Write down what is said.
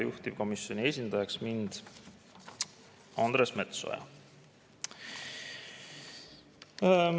Juhtivkomisjoni esindajaks määrati mind, Andres Metsoja.